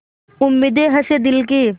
उम्मीदें हसें दिल की